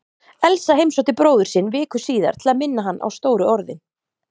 Elsa heimsótti bróður sinn viku síðar til að minna hann á stóru orðin.